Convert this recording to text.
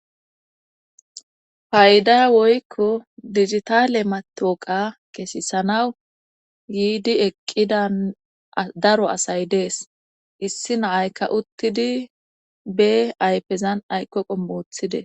Ayda woykko digitaale matooqa kesisanaw yiidi eqqidan daro asay dees issi naaykka uttidi be aypezan ayqqoqo moothide.